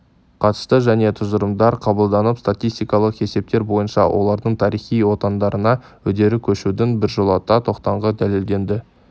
қатысты жаңа тұжырымдар қабылданып статистикалық есептер бойынша олардың тарихи отандарына үдере көшудің біржолата тоқтағаны дәлелденді